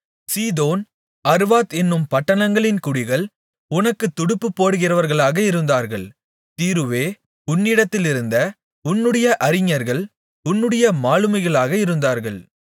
சீதோன் அர்வாத் என்னும் பட்டணங்களின் குடிகள் உனக்குத் துடுப்பு போடுகிறவர்களாக இருந்தார்கள் தீருவே உன்னிடத்திலிருந்த உன்னுடைய அறிஞர்கள் உன்னுடைய மாலுமிகளாக இருந்தார்கள்